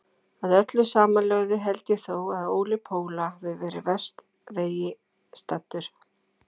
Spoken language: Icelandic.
Að öllu samanlögðu held ég þó að Óli Póla hafi verið verst vegi staddur.